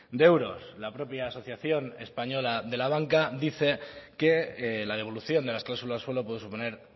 de euros la propia asociación española de la banca dice que la devolución de las cláusulas suelo puede suponer